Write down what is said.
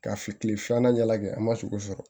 Ka fi kile filanan ɲɛ lajɛ an ma sogo sɔrɔ